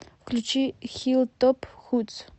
включи хиллтоп худс